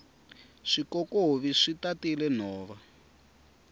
swikokovi swi tatile nhova